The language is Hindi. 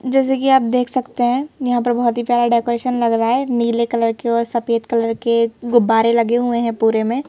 जैसे की आप देख सकते है यहां पर बहुत ही प्यार डेकोरेशन लग रहा है नीले कलर के और सफेद कलर के गुब्बारे लगे हुए हैं पूरे में--